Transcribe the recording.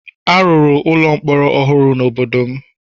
A rụrụ ụlọ mkpọrọ ọhụrụ n'obodo m